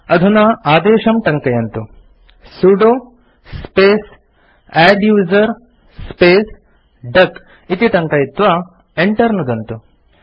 अधुना आदेशं टङ्कयन्तु160 sudo space adduser space duck इति टङ्कयित्वा Enter नुदन्तु